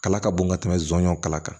Kala ka bon ka tɛmɛ nsonsanw kala kan